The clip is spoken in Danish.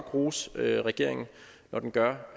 rose regeringen når den gør